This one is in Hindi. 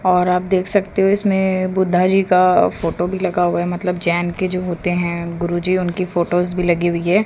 और आप देखा सकते हो इसमें बुद्धा जी का फोटो भी लगा हुआ है मतलब जैन के जो होते है गुरुजी उनकी फोटोस भी लगी हुई है।